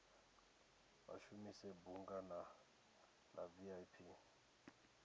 vha shumise bunga la vip